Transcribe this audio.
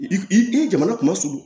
I ye jamana kunma surun